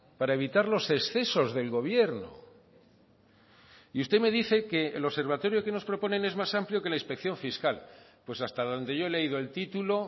para evitar los excesos del gobierno y usted me dice que el observatorio que nos proponen es más amplio que la inspección fiscal pues hasta donde yo he leído el título